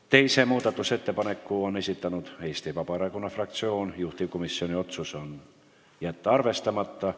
Teise muudatusettepaneku on esitanud Eesti Vabaerakonna fraktsioon, juhtivkomisjoni otsus: jätta arvestamata.